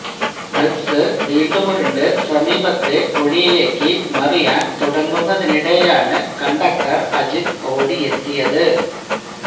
bus വീണ്ടുമുരുണ്ട് സമീപത്തെ കുഴിയിലേക്ക് മറിയാന് തുടങ്ങുന്നതിനിടെയാണ് കണ്ടക്ടര് അജിത്ത് ഓടിയെത്തിയത്